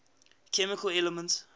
chemical elements